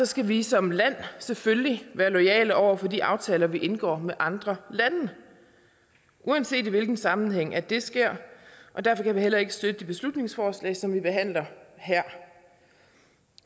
skal vi som land selvfølgelig være loyale over for de aftaler vi indgår med andre lande uanset i hvilken sammenhæng det sker derfor kan vi heller ikke støtte det beslutningsforslag som vi behandler her